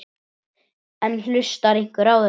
En hlustar einhver á þetta?